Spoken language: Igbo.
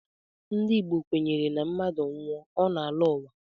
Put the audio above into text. Ndị Igbo kwenyere na mmadụ nwụọ, ọ na-alọ uwa